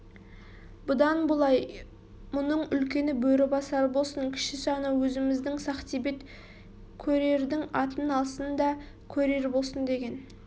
бұдан былай мұның үлкені бөрібасар болсын кішісі анау өзіміздің сақтебет көрердің атын алсын да көрер болсын деген